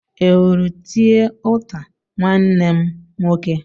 i hụrụ tie ụta nwanne mụ nwoke?